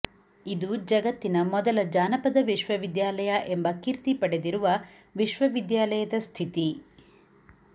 ಇದು ಜಗತ್ತಿನ ಮೊದಲ ಜಾನಪದ ವಿಶ್ವವಿದ್ಯಾಲಯ ಎಂಬ ಕೀರ್ತಿ ಪಡೆದಿರುವ ವಿಶ್ವವಿದ್ಯಾಲಯದ ಸ್ಥಿತಿ